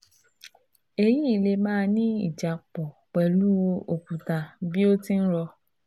èyí lè máà ní ìjápọ̀ pẹ̀lú òkúta bí o ti ń rò